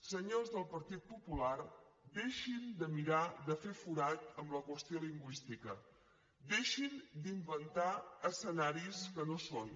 senyors del partit popular deixin de mirar de fer forat en la qüestió lingüística deixin d’inventar escenaris que no són